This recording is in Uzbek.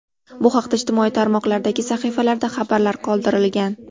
Bu haqda ijtimoiy tarmoqlardagi sahifalarda xabarlar qoldirilgan .